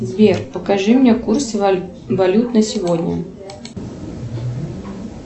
сбер покажи мне курс валют на сегодня